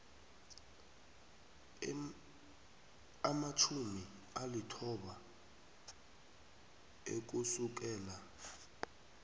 amatjhumi alithoba ukusukela